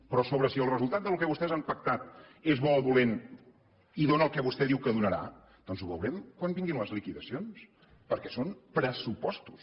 però si el resultat del que vostès han pactat és bo o dolent i dóna el que vostè diu que donarà doncs ho veurem quan vinguin les liquidacions perquè són pressupostos